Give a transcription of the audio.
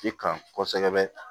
I kan kosɛbɛ